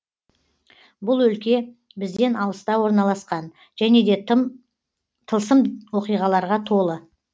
бұл өлке бізден алыста орналасқан және де тылсым оқиғаларға толы